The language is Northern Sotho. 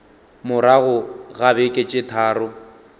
morago ga beke tše tharo